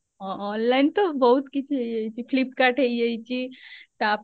ହଁ online ତ ବହୁତ କିଛି ହେଇଯାଇଛି flipkart ହେଇଯାଇଛି ତାପରେ